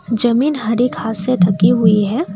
जमीन हरी घास से ढकी हुई है।